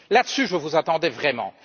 Là dessus, je vous attendais vraiment.